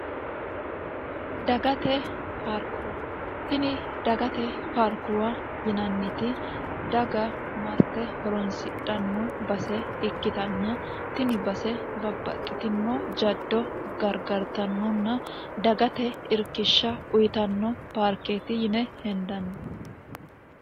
dagate paarkuwa tini dagate paarkuwa yinanniti daga marte horonsidhanno base ikkitanna tini base babbaxxitino jaddo gargartannonna dagate irkishsha uyitanno paarkeeti yine hendanni